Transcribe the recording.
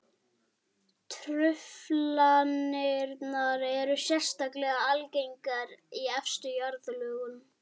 Truflanirnar eru sérstaklega algengar í efstu jarðlögunum.